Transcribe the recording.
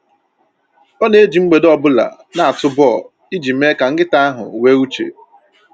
Ọ na-eji mgbede ọbụla na-atụ bọl iji mee ka nkịta ahụ nwee uche.